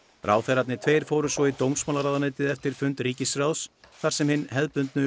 ráðherrarnir tveir fóru svo í dómsmálaráðuneytið eftir fund ríkisráðs þar sem hin hefðbundnu